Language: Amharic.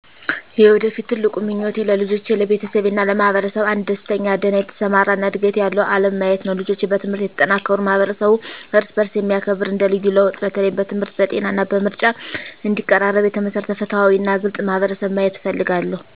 የወደፊት ትልቁ ምኞቴ ለልጆቼ፣ ለቤተሰቤ እና ለማህበረሰብ አንድ ደስተኛ፣ ደህና የተሰማራ እና ዕድገት ያለው ዓለም ማየት ነው። ልጆች በትምህርት የተጠናከሩ፣ ማህበረሰቡ እርስ በእርስ የሚያከብር እንደ ልዩ ለውጥ፣ በተለይም በትምህርት፣ በጤና እና በምርጫ እንዲቀራረብ የተመሰረተ ፍትሃዊ እና ግልጽ ማህበረሰብ ማየት እፈልጋለሁ።